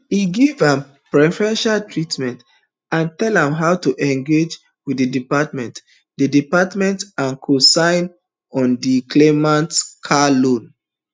e give am preferential treatment and tell am how to engage wit di department di department and cosign on di claimant car loan